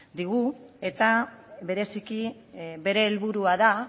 digu eta bereziki bere helburua da